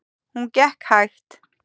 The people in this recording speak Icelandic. Hún gekk hægt.